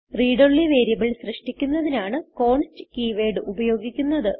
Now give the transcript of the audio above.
read only variable സൃഷ്ടിക്കുന്നതിനാണ് const keyword ഉപയോഗിക്കുന്നത്